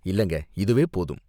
இல்லங்க, இதுவே போதும்.